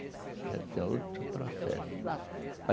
Já tem outro processo.